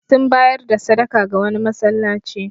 Sun bayar da sadaka ga wani masallaci.